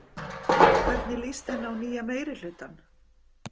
Hvernig líst henni á nýja meirihlutann?